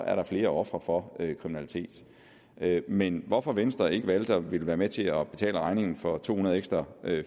er der flere ofre for kriminalitet men hvorfor venstre ikke valgte at ville være med til at betale regningen for to hundrede ekstra